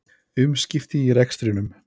Umskipti í rekstrinum